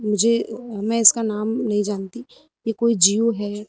मुझे मैं इसका नाम नहीं जानती। यह कोई जीव है।